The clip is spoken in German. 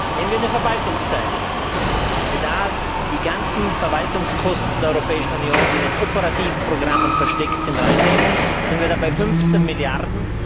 Nehmen wir den Verwaltungsteil Wenn wir die ganzen Verwaltungskosten der Europäischen Union, die in den operativen Programmen versteckt sind, hinein nehmen, sind wir bei 15 Milliarden.